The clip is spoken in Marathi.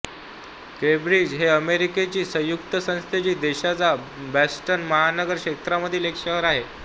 केंब्रिज हे अमेरिकेची संयुक्त संस्थाने देशाच्या बॉस्टन महानगर क्षेत्रामधील एक शहर आहे